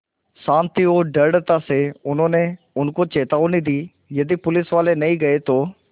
शान्ति और दृढ़ता से उन्होंने उनको चेतावनी दी यदि पुलिसवाले नहीं गए तो